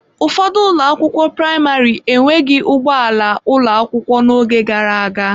Ụfọdụ ụlọ akwụkwọ praịmarị enweghị ụgbọ ala ụlọ akwụkwọ n'oge gara aga.